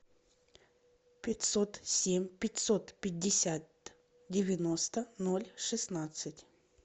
пятьсот семь пятьсот пятьдесят девяносто ноль шестнадцать